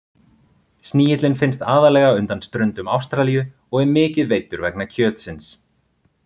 Snigillinn finnst aðallega undan ströndum Ástralíu og er mikið veiddur vegna kjötsins.